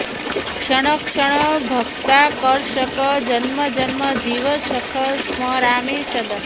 क्षण क्षण भक्ताकर्षक जन्मजन्म जीव सख स्मरामि सदा